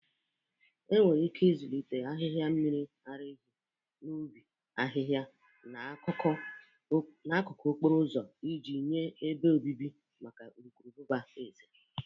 Enwere ike ịzụlite ahihia mmiri ara ehi n'ubi, ahịhịa na n'akụkụ okporo ụzọ iji nye ebe obibi maka urukurubụba eze.